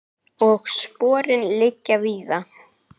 Og sporin liggja víða.